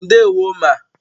Ndewo ma